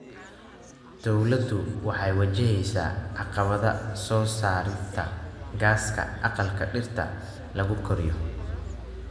Dawladdu waxay wajaheysaa caqabada soo saarista gaaska aqalka dhirta lagu koriyo.